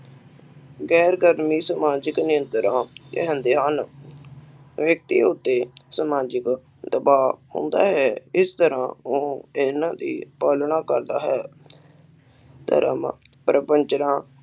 ਗੈਰ ਸਮਾਜਿਕ ਨਿਯੰਤ੍ਰਾ ਕਹਿੰਦੇ ਹਨ ਵਿਅਕਤੀਆ ਉੱਤੇ ਸਮਾਜਿਕ ਦਬਾਵ ਪਾਉਂਦਾ ਹੈ ਇਸ ਤਰ੍ਹਾਂ ਉਹ ਇਹਨਾਂ ਦੀ ਪਾਲਣਾ ਕਰਦਾ ਹੈ ਧਰਮ, ਪ੍ਰਪਚਨਾ